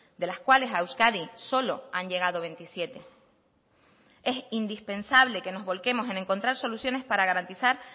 de las cuales a euskadi solo han llegado veintisiete es indispensable que nos volquemos en encontrar soluciones para garantizar